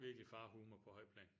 Virkelig farhumor på højt plan